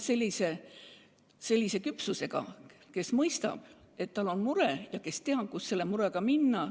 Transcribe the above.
Kui laps on nii küps, et ta mõistab, et tal on mure, mille puhul muud abi ei ole, siis peab ta teadma, kuhu selle murega minna.